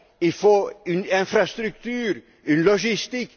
Il faut une infrastructure, une logistique.